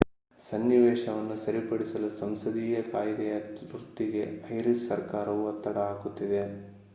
ಸನ್ನಿವೇಶವನ್ನು ಸರಿಪಡಿಸಲು ಸಂಸದೀಯ ಕಾಯ್ದೆಯ ತುರ್ತಿಗೆ ಐರಿಶ್ ಸರ್ಕಾರವು ಒತ್ತಡ ಹಾಕುತ್ತಿದೆ